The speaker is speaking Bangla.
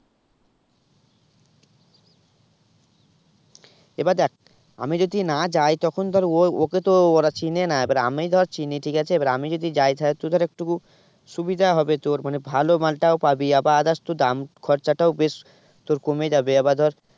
এবার দেখ আমি যদি না যাই তখন ধর ও ওকে তো ওরা চেনে না এবার আমি ধর চিনি ঠিক আছে এবার আমি যদি তাহলে তাহলে একটুকু সুবিধা হবে তোর মানে ভালো মালটাও পাবি আবার others তোর দাম খরচটাও বেশ তোর কমে যাবে আবার ধর